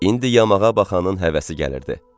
İndi yamağa baxanın həvəsi gəlirdi.